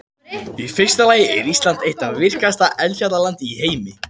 Í fyrsta lagi er Ísland eitt virkasta eldfjallaland í heimi.